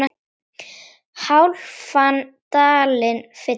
hálfan dalinn fylla